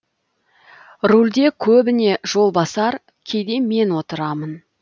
рульде көбіне жолбасар кейде мен отырамын